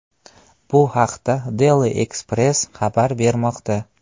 Bu haqda Daily Express xabar bermoqda .